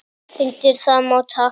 Undir það má taka.